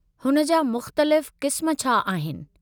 हुन जा मुख़्तलिफ़ क़िस्म छा आहिनि?